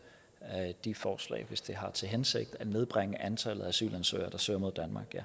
de forslag hvis de har til hensigt at nedbringe antallet af asylansøgere der søger mod